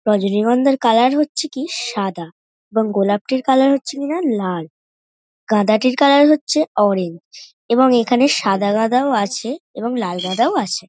রজনীগন্ধার কালার - ই হচ্ছে কি সাদা এবং গোলাপটির হচ্ছে কিনা লাল গাঁদাটির কালার হচ্ছে অরেঞ্জ এবং এখানে সাদা গাঁদাও আছে। এবং লাল সাদা গাঁদাও আছে ।